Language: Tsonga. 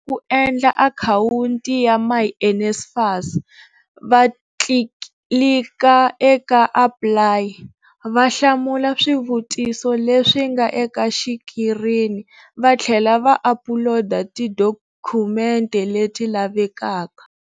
Ku endla akhawunti ya myNSFAS, va tlilika eka APPLY, va hlamula swivutiso leswi nga eka xikirini vatlhela va apuloda tidokhumente leti lavekaka.